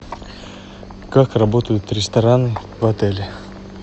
как работают рестораны в отеле